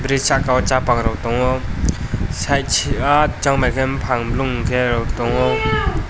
bridge sakao chapang rok tongo side ah chongmai khe buphang blong kherok tongo.